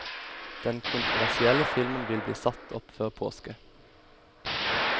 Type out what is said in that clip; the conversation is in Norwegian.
Den kontroversielle filmen vil bli satt opp før påske.